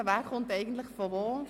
Wer kommt eigentlich woher?